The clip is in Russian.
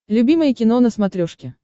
любимое кино на смотрешке